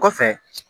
Kɔfɛ